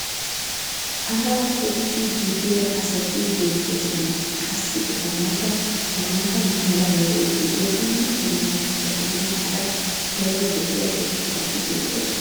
paraa toggidi biya asati beetoosona. qassi eta matan maata mala meray diyo dumma dumma mitatinne hara daro lo'iya irxxabati beetoosona.